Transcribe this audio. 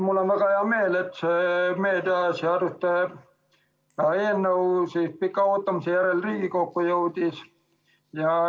Mul on väga hea meel, et see meediaseaduste eelnõu pika ootamise järel Riigikokku jõudis.